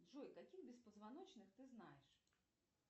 джой каких беспозвоночных ты знаешь